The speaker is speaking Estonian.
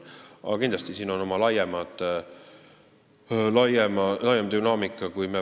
Kindlasti on siin oma laiem dünaamika.